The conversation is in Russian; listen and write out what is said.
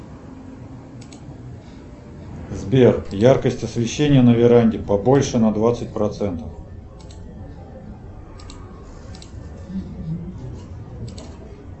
сбер яркость освещения на веранде побольше на двадцать процентов